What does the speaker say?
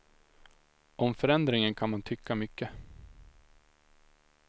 Om förändringen kan man tycka mycket.